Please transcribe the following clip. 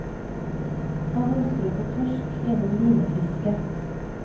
Han ønsker å få torsk gjennom linefiske.